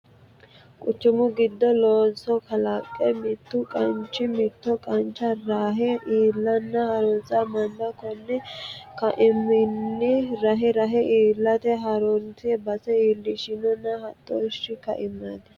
Quchumu giddo looso kalaqe mitu qachini mitto qacha rahe iilla hasirano manna koni kaameelinni rahe rahe iillate hasirino base iillishshano hodhishshu kaameelati.